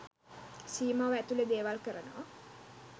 සීමාව ඇතුළෙ දේවල් කරනවා.